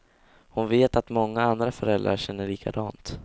Hon vet att många andra föräldrar känner likadant.